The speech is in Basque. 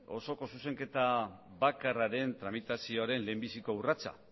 osoko zuzenketa bakarraren tramitazioaren lehenbiziko urratsa